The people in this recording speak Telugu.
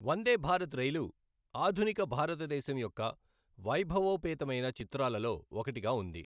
వందేభారత్ రైలు ఆధునిక భారతదేశం యొక్క వైభవోపేతమైన చిత్రాలలో ఒకటిగా ఉంది